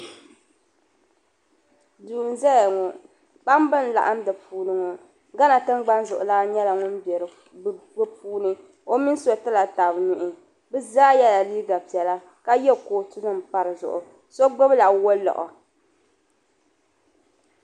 Duu n zaya ŋɔ kpambi n laɣim di puuni ŋɔ gana tingbani zuɣulan nyela ŋun be di puuni o mini so ti la tab nuhi bɛ zaa yela liiga piɛla ka ye kootunim m pa di zuɣu so gbubila waliɣu.